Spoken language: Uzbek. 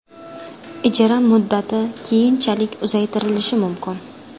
Ijara muddati keyinchalik uzaytirilishi mumkin.